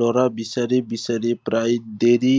ল'ৰা বিচাৰি বিচাৰি প্ৰায় দেৰি